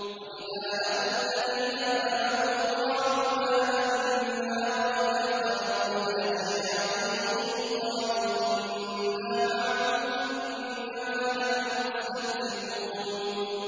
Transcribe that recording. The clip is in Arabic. وَإِذَا لَقُوا الَّذِينَ آمَنُوا قَالُوا آمَنَّا وَإِذَا خَلَوْا إِلَىٰ شَيَاطِينِهِمْ قَالُوا إِنَّا مَعَكُمْ إِنَّمَا نَحْنُ مُسْتَهْزِئُونَ